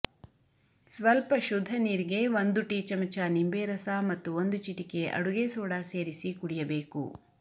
ಸ್ವಲ್ಪ ಶುದ್ಧ ನೀರಿಗೆ ಒಂದು ಟೀ ಚಮಚ ನಿಂಬೆ ರಸ ಮತ್ತು ಒಂದು ಚಿಟಿಕೆ ಅಡುಗೆ ಸೋಡಾ ಸೇರಿಸಿ ಕುಡಿಯಬೇಕು